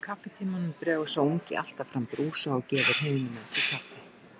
Í kaffitímanum dregur sá ungi alltaf fram brúsa og gefur hinum með sér kaffi.